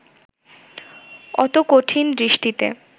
অত কঠিন দৃষ্টিতে